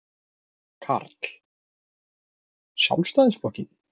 Karl: Sjálfstæðisflokkinn?